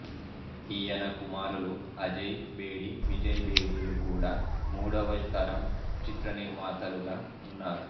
ఈయన కుమారులు అజయ్ బేడి విజయ్ బేడి లు కూడా మూడవ తరం చిత్రనిర్మాతలుగా ఉన్నారు